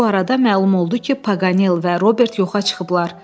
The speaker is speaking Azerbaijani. Bu arada məlum oldu ki, Paqanel və Robert yoxa çıxıblar.